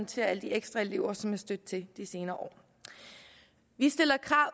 til alle de ekstra elever som er stødt til de senere år vi stiller krav